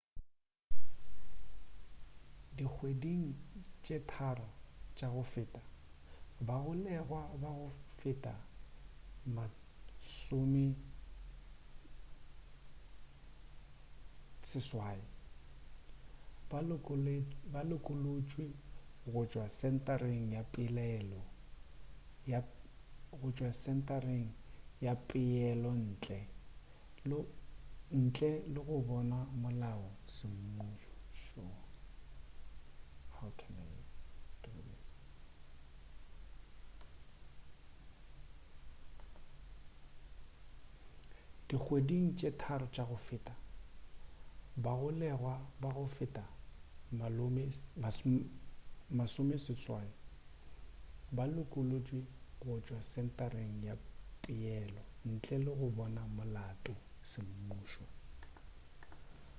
dikgweding tše 3 tša go feta bagolegwa ba go feta 80 ba lokolotšwe go tšwa sentareng ya peelo ntle le go bonwa molato semmušo